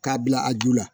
K'a bila a ju la